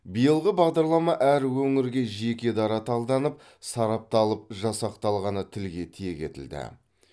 биылғы бағдарлама әр өіңрге жеке дара талданып сарапталып жасақталғаны тілге тиек етілді